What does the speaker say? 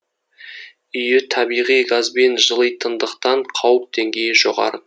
үйі табиғи газбен жылитындықтан қауіп деңгейі жоғары